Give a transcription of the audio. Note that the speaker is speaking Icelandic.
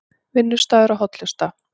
Vinnustaður og hollusta